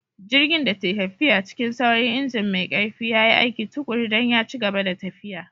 Jirgin da ke tafiya cikin sauri, injin mai ƙarfi ya yi aiki tuƙuru don ya ci gaba da tafiya.